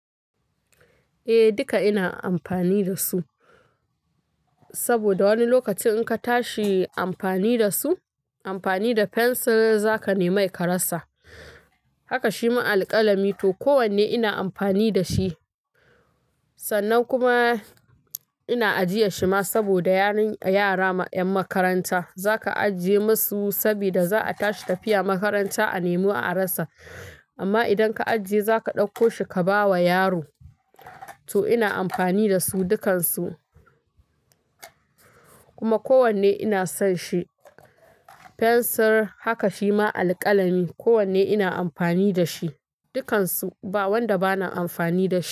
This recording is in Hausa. Eh duka ina amfani da su, saboda wani lokacin in ka tashi amfani da su, amfani da fensir za ka nemai ka rasa. Haka shima alƙalami to kowanne ina amfani da shi. Sannan kuma ina ajiye shi ma saboda yara 'yan makaranta za ka ajiye masu sabida za a tashi tafiya makaranta a nemo a rasa. Amma idan ka ajiye za ka ɗauko shi ka bawa yaro. To ina amfani da su dukansu. Kuma kowanne ina son shi. Fensir haka shima alƙalami kowanne ina amfani da shi. Dukansu ba wanda bana amfani da shi.